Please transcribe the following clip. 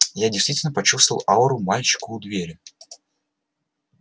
я действительно почувствовал ауру мальчика у двери